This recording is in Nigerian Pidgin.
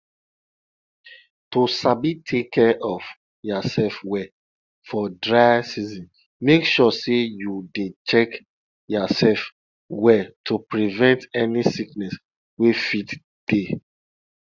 to sabi take care of yasef well for dry season make sure say you dey check yasef well to prevent any sickness wey fit dey